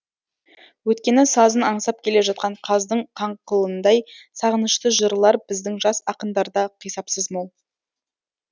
өйткені сазын аңсап келе жатқан қаздың қаңқылындай сағынышты жырлар біздің жас ақындарда қисапсыз мол